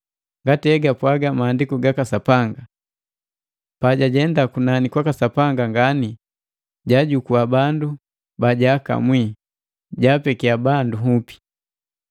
Ngati egapwaga Maandiku gaka Sapanga: “Pajajenda kunani kwaka Sapanga ngani, jaajukua bandu bajaakamwi; jaapekiya bandu nhupi.”